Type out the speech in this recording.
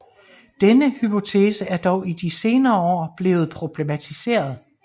Denne hypotese er dog i de senere år blevet problematiseret